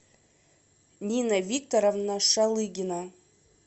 нина викторовна шалыгина